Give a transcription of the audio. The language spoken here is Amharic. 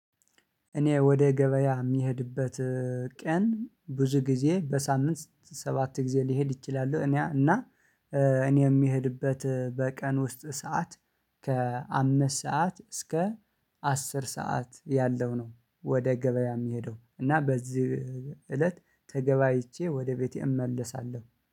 እኔ ወደ ገበያ የሚሄድበት ቀን ብዙ ጊዜ በሳምንት ሰባት ጊዜ ሊሄድ እችላለው። እኔ እና እኔ የምሄድበት በቀን ውስጥ ሰዓት ከአምስት ሰዓት እስከ አስር ሰዓት ያለው ነው። ወደ ገበያ የሚሄደው እና በዚህ እለት ተገባይቼ ወደ ቤቴ እመለሳለሁ